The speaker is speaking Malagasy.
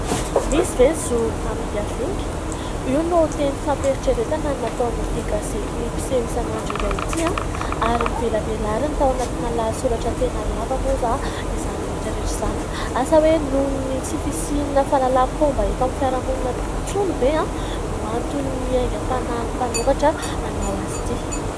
Misy ve ny zo hamingavinga? io no teny fampieritreretana nataon'ity gazety mpiseho isan'andro iray ity ary novelabelariny tao anatin' ny lahasoratra tena lava moa izany rehetra rehetra izany ; asa hoe noho ny tsy fisian'ny fahalalam-pomba eto amin'ny fiaraha-monina ve no anton' ny aingam-panahin' ny mpanoratra nanao azy ity.